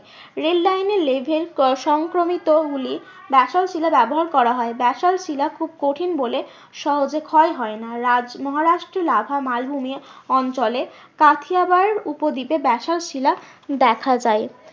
Rail line এর সংক্রমিত গুলি ব্যাসল্ট শিলা ব্যবহার করা হয়। ব্যাসল্ট শিলা খুব কঠিন বলে সহজে ক্ষয় হয় না মহারাষ্ট্র লাভা মালভূমির অঞ্চলে কাথিয়াবার উপদ্বীপে ব্যাসল্ট শিলা দেখা যায়।